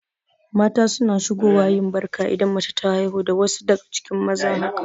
Mata suna shigo wa yin Barka idan mace ta haihu da wasu daga cikin maza haka